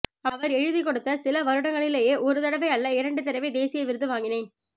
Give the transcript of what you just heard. அவர் எழுதிக் கொடுத்த சில வருடங்களிலேயே ஒரு தடவை அல்ல இரண்டு தடவை தேசிய விருது வாங்கினேன்